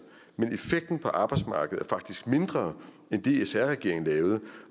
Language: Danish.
men effekten på arbejdsmarkedet er faktisk mindre end det sr regeringen lavede